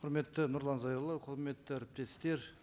құрметті нұрлан зайроллаұлы құрметті әріптестер